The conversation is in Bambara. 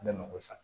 Ne mako sa